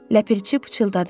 Ləpirçi pıçıldadı.